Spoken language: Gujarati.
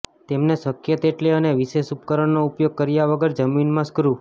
તેમને શક્ય તેટલી અને વિશેષ ઉપકરણનો ઉપયોગ કર્યા વગર જમીન માં સ્ક્રૂ